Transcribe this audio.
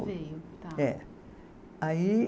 Sim, tá. É, aí